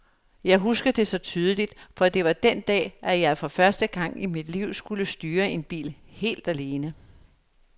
Jeg husker det så tydeligt, for det var den dag, at jeg for første gang i mit liv skulle styre en bil helt alene.